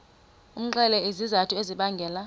umxelele izizathu ezibangela